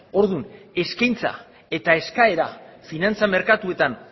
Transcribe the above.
orduan eskaintza eta eskaera finantza merkatuetan